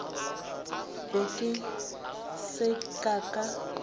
be ke se ka ka